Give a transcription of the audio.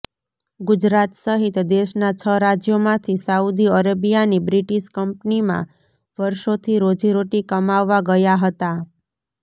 ગુજરાત સહિત દેશનાં છ રાજ્યોમાંથી સાઉદી અરેબિયાની બ્રિટિશ કંપનીમાં વર્ષોથી રોજીરોટી કમાવવા ગયા હતા